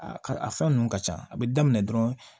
A ka a fɛn ninnu ka ca a bɛ daminɛ dɔrɔn